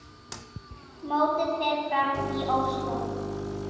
Mótið fer fram í Ósló.